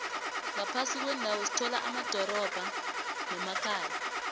ngaphasi kwendawo sithola amadorobha nemakhaya